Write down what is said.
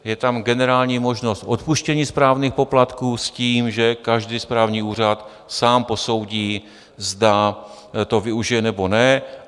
Je tam generální možnost odpuštění správních poplatků s tím, že každý správní úřad sám posoudí, zda to využije, nebo ne.